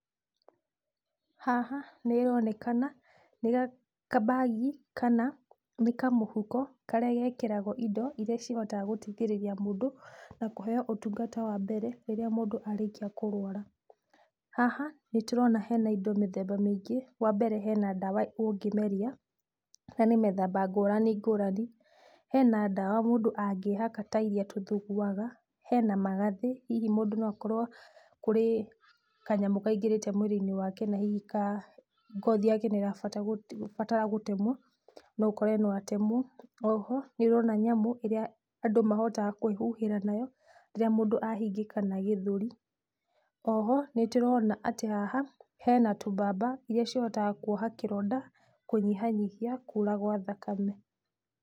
Haha nĩronekana nĩ kabagi kana nĩ kamũhuko karĩa gekĩragũo indo iria cihotaga gũteithĩrĩria mũndũ na kũheo ũtungata wa mbere rĩrĩa mũndũ arĩkia kũrwara. Haha nĩtũrona hena indo mĩthemba mĩingĩ. Wambere hena ndawa ũngĩmeria na nĩ mĩthemba ngũrani ngũrani. Hena ndawa mũndũ angĩhaka tairia tũthuguaga. Hena magathĩ hihi mũndũ no akorwo kũrĩ kanyamũ kaingĩrĩte mwĩrĩ-inĩ wake na hihi ka ngothi yake nĩrabatara gũtemwo. No ũkore no atemwo. Oho nĩũrona nyamũ ĩrĩa andũ mahota kwĩhuhĩra nayo rĩrĩa mũndũ ahingĩkana gĩthũri. Oho nĩtũrona atĩ haha hena tũmbamba, irĩa cihotaga kuoha kĩronda kũnyihanyihia kura gwa thakame.